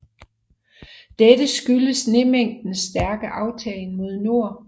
Dette skyldes snemængdens stærke aftagen mod nord